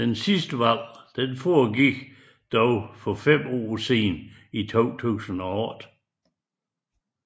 Det sidste valg foregik dog for fem år siden i 2008